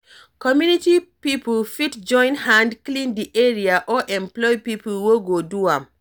Community pipo fit join hand clean di area or employ pipo wey go do am